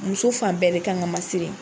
Muso fan bɛɛ de kan kan ka masiri.